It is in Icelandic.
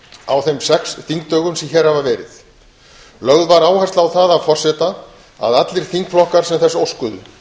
á þeim sex þingdögum sem hér hafa verið lögð var áhersla á það af forseta að allir þingflokkar sem þess óskuðu